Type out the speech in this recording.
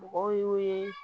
Mɔgɔw y'o ye